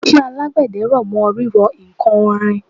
iṣẹ́ àgbẹ̀dẹ r'ọ̀mọ́ rírọ ǹkan onírin